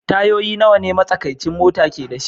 Tayoyin nawa ne matsakaicin mota ke da shi?